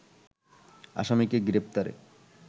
আসামিকে গ্রেপ্তারে